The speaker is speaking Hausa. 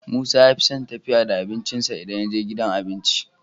Musa yafison tafiya da abincin sa idan yaje gidan abinci